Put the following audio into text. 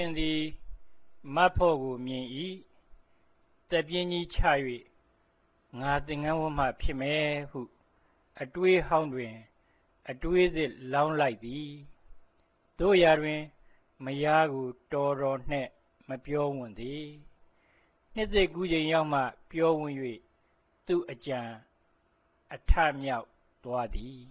င်သည် မဖော့ကို မြင်၏၊၊ သက်ပြင်းကြီးချ၍ ငါ သင်္ကန်းဝတ်မှ ဖြစ်မယ် ဟု အတွေးဟောင်းတွင် အတွေးသစ် လောင်းလိုက်သည်၊၊ သို့ရာတွင် မယားကို တော်တော်နှင့် မပြောဝံ့သေး၊၊ နှစ်သစ်ကူးချိန်ရောက်မှ ပြောဝံ့၍၊ သူ့အကြံ အထမြောက်သွားသည်